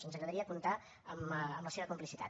ens agradaria comptar amb la seva complicitat